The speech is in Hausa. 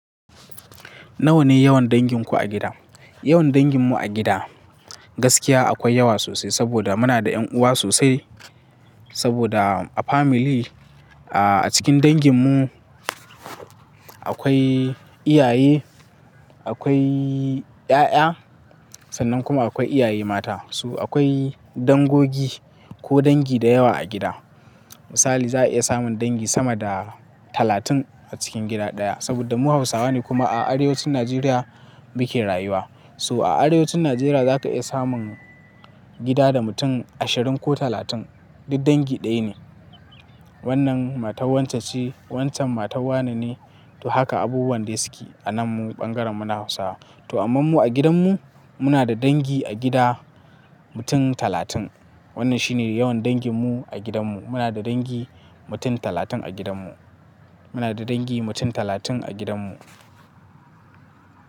Nawa ne yawan danginku a gida? Yawan danginmu a gida gaskiya akwai yawa sosai saboda muna da ƴan uwa sosai. Saboda a family, a cikin danginmu akwai iyaye, akwai ƴaƴa sannan kuma akwai iyaye mata. So akwai dangogi ko dangi da yawa a gida. Misali za a iya samun dangi sama da talatin a cikin gida ɗaya saboda mu Hausawa ne kuma a arewacin Najeriya muke rayuwa. So a arewacin Najeriya za ka iya samun gida da mutum ashirin ko talatin duk dangi ɗaya ne. Wannan matar wancan ce, wancan matar wannan ne, to haka abubuwan da suke a nan bangaren mu na Hausawa. To amma mu a gidanmu muna da dangi a gida mutum talatin. Wannan shi ne yawan danginmu a gidanmu. Muna da dangi mutum talatin a gidanmu. Muna da dangi mutum talatin a gidanmu.